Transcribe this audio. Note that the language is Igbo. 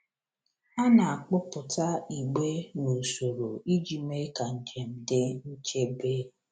A na-akpụpụta igbe n’usoro iji mee ka njem dị nchebe.